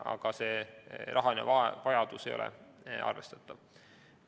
Aga see lisaraha vajadus ei ole arvestatav.